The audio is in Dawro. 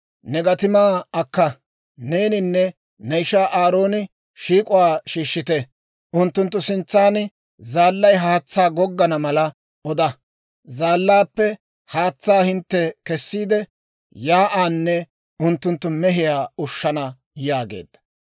«Ne gatimaa akka; neeninne ne ishaa Aarooni shiik'uwaa shiishshite; unttunttu sintsan zaallay haatsaa goggana mala oda. Zaallaappe haatsaa hintte kessiide, shiik'uwaanne unttunttu mehiyaa ushshana» yaageedda.